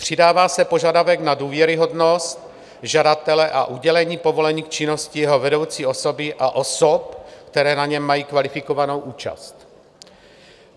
Přidává se požadavek na důvěryhodnost žadatele a udělení povolení k činnosti jeho vedoucí osoby a osob, které na něm mají kvalifikovanou účast.